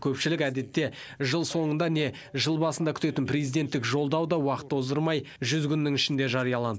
көпшілік әдетте жыл соңында не жыл басында күтетін президенттік жолдау да уақыт оздырмай жүз күннің ішінде жариялан